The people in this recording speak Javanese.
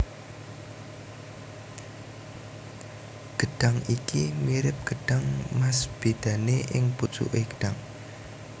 Gedhang iki mirip gedhang mas bedane ing pucuke gedhang